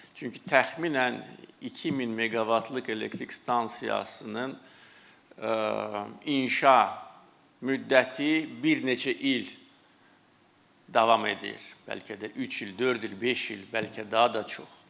Çünki təxminən 2000 meqavatlıq elektrik stansiyasının inşa müddəti bir neçə il davam edir, bəlkə də üç il, dörd il, beş il, bəlkə daha da çox.